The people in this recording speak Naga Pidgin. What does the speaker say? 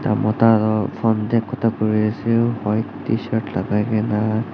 Ekta mota toh phone tae kotha kuri ase white tshirt lagai kena.